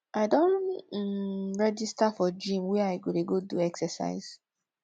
i don um register for gym where i go dey go do exercise